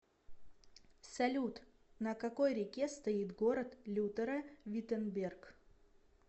салют на какой реке стоит город лютера виттенберг